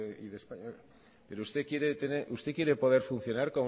y de españa pero usted quiere funcionar